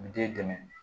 Den dɛmɛ